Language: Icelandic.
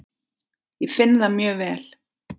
Ég finn það mjög vel.